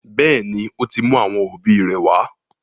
Béèni, o tí mú àwọn òbí ré wá.